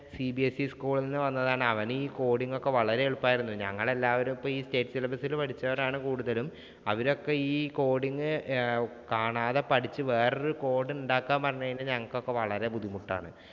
CBSEschool ഇല്‍ നിന്ന് വന്നതാണ്. അവനീ coding ഒക്കെ വളരെ എളുപ്പമായിരുന്നു. ഞങ്ങളെല്ലാവരും ഇപ്പം ഈ state syllabus ഇൽ പഠിച്ചവരാണ് കൂടുതലും. അവരൊക്കെ ഈ coding കാണാതെ പഠിച്ച് വേറൊരു code ഉണ്ടാക്കാൻ പറഞ്ഞു കഴിഞ്ഞാ ഞങ്ങൾക്ക് വളരെ ബുദ്ധിമുട്ടാണ്.